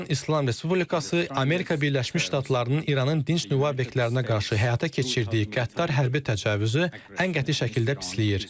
İran İslam Respublikası Amerika Birləşmiş Ştatlarının İranın dinc nüvə obyektlərinə qarşı həyata keçirdiyi qəddar hərbi təcavüzü ən qəti şəkildə pisləyir.